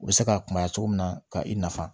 U bɛ se ka kunbaya cogo min na ka i nafa